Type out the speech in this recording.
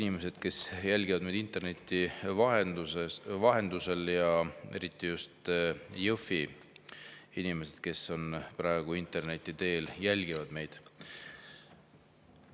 Head inimesed, kes jälgivad meid interneti vahendusel, eriti just Jõhvi inimesed, kes praegu meid interneti teel jälgivad!